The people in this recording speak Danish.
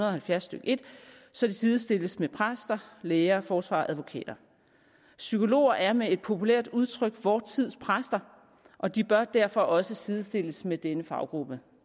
og halvfjerds stykke en så de sidestilles med præster læger forsvarere og advokater psykologer er med et populært udtryk vor tids præster og de bør derfor også sidestilles med denne faggruppe